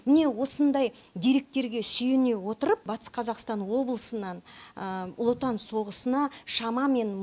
міне осындай деректерге сүйене отырып батыс қазақстан облысынан ұлы отан соғысына шамамен